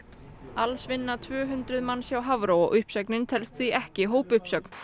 alls vinna tvö hundruð manns hjá Hafró og uppsögnin telst því ekki hópuppsögn